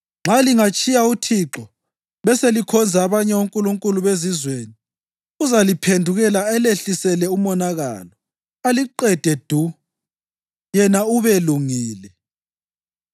Nxa lingatshiya uThixo beselikhonza abanye onkulunkulu bezizweni uzaliphendukela alehlisele umonakalo aliqede du, yena ubelungile.”